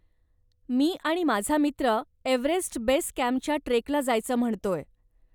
मी आणि माझा मित्र एव्हरेस्ट बेस कॅम्पच्या ट्रेकला जायचं म्हणतोय.